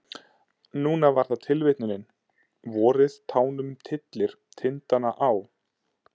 Núna var það tilvitnunin: Vorið tánum tyllir tindana á.